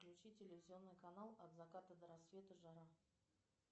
включи телевизионный канал от заката до рассвета жара